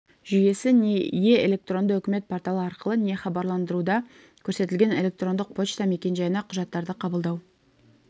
жүйесі не е- электронды үкімет порталы арқылы не хабарландыруда көрсетілген электрондық почта мекенжайына құжаттарды қабылдау